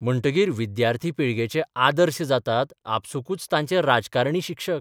म्हणटकीर विद्यार्थी पिळगेचे 'आदर्श 'जातात आपसूकच तांचे राजकारणी शिक्षक.